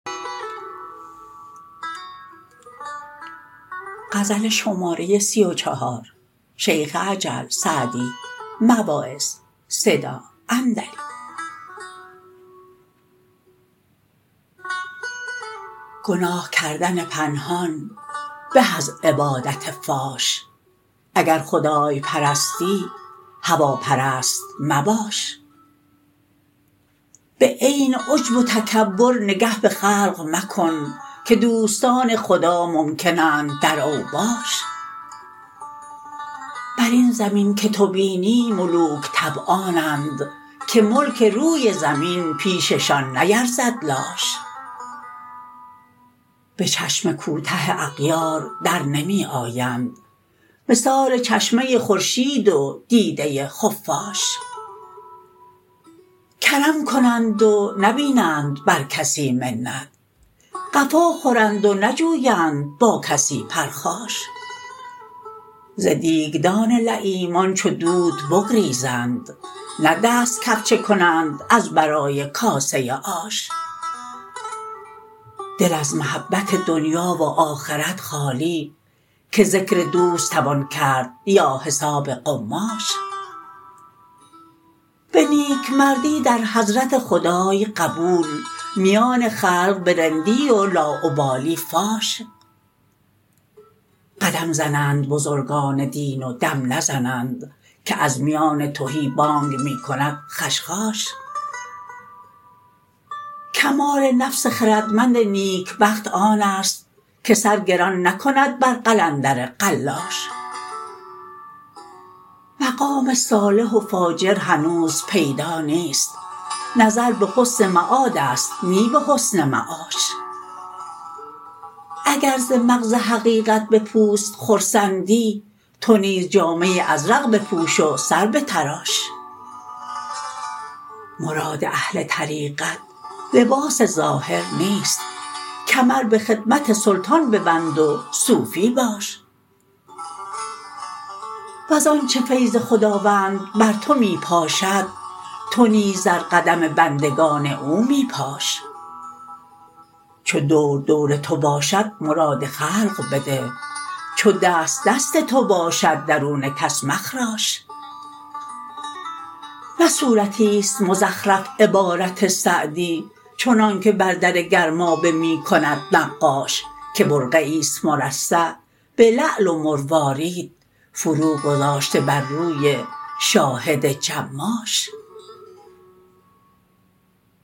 گناه کردن پنهان به از عبادت فاش اگر خدای پرستی هواپرست مباش به عین عجب و تکبر نگه به خلق مکن که دوستان خدا ممکن اند در اوباش بر این زمین که تو بینی ملوک طبعانند که ملک روی زمین پیششان نیرزد لاش به چشم کوته اغیار در نمی آیند مثال چشمه خورشید و دیده خفاش کرم کنند و نبینند بر کسی منت قفا خورند و نجویند با کسی پرخاش ز دیگدان لییمان چو دود بگریزند نه دست کفچه کنند از برای کاسه آش دل از محبت دنیا و آخرت خالی که ذکر دوست توان کرد یا حساب قماش به نیکمردی در حضرت خدای قبول میان خلق به رندی و لاابالی فاش قدم زنند بزرگان دین و دم نزنند که از میان تهی بانگ می کند خشخاش کمال نفس خردمند نیکبخت آن است که سر گران نکند بر قلندر قلاش مقام صالح و فاجر هنوز پیدا نیست نظر به حسن معاد است نی به حسن معاش اگر ز مغز حقیقت به پوست خرسندی تو نیز جامه ازرق بپوش و سر بتراش مراد اهل طریقت لباس ظاهر نیست کمر به خدمت سلطان ببند و صوفی باش وز آنچه فیض خداوند بر تو می پاشد تو نیز در قدم بندگان او می پاش چو دور دور تو باشد مراد خلق بده چو دست دست تو باشد درون کس مخراش نه صورتیست مزخرف عبارت سعدی چنانکه بر در گرمابه می کند نقاش که برقعیست مرصع به لعل و مروارید فرو گذاشته بر روی شاهد جماش